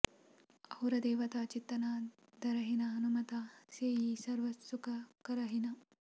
ಔರ ದೇವತಾ ಚಿತ್ತ ನ ಧರಹಿನ ಹನುಮತ ಸೇಇ ಸರ್ವ ಸುಖ ಕರಹಿನ